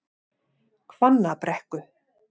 Hvannabrekku